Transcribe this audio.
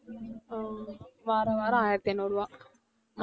ஆஹ் வார வாரம் ஆயிரத்து ஐநூறு ரூபாய்